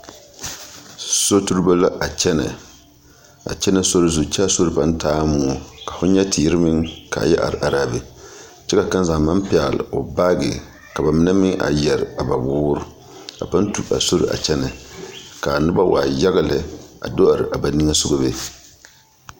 Soturibo la a kyɛnɛ a kyɛnɛ sori zu kyɛ a sori pãã taaɛ moɔ ka fo nyɛ teere meŋ ka a yɛ are are a be kyɛ ka kaŋa zaa maŋ pɛɡele o baaɡe ka ba mine meŋ yɛre a ba woori a pãã tu a sori a kyɛnɛ ka a noba waa yaɡa lɛ a do are a ba niŋe soɡa be.